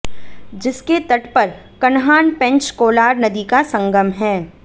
जिसके तट पर कन्हान पेंच कोलार नदी का संगम है